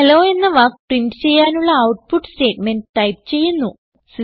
hello എന്ന വാക്ക് print ചെയ്യാനുള്ള ഔട്ട്പുട്ട് സ്റ്റേറ്റ്മെന്റ് ടൈപ്പ് ചെയ്യുന്നു